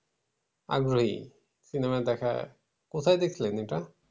আগ্রহী cinema দেখার। কোথায় দেখছিলেন এটা?